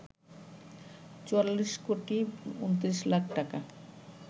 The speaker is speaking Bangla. ৪৪ কোটি ২৯ লাখ টাকা